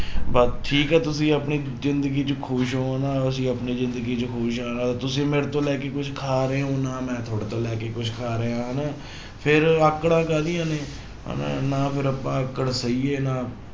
ਬਸ ਠੀਕ ਹੈ ਤੁਸੀਂ ਆਪਣੀ ਜ਼ਿੰਦਗੀ 'ਚ ਖ਼ੁਸ਼ ਹੋ ਨਾ ਅਸੀਂ ਆਪਣੀ ਜ਼ਿੰਦਗੀ 'ਚ ਖ਼ੁਸ਼ ਹਾਂ ਤੁਸੀਂ ਮੇਰੇ ਤੋਂ ਲੈ ਕੇ ਕੁਛ ਖਾ ਰਹੇ ਹੋ, ਨਾ ਮੈਂ ਤੁਹਾਡੇ ਤੋਂ ਲੈ ਕੇ ਕੁਛ ਖਾ ਰਿਹਾ ਹਨਾ ਫਿਰ ਆਕੜਾਂ ਕਾਹਦੀਆਂ ਨੇ ਹਨਾ ਨਾ ਫਿਰ ਆਪਾਂ ਆਕੜ ਸਹੀ ਹੈ ਨਾ